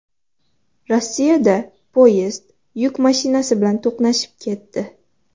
Rossiyada poyezd yuk mashinasi bilan to‘qnashib ketdi.